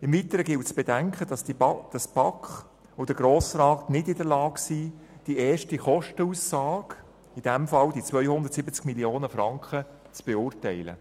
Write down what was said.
Im Weiteren gilt es zu bedenken, dass die BaK und der Grosse Rat nicht in der Lage sind, die erste Kostenaussage, in diesem Fall die 270 Mio. Franken, zu beurteilen.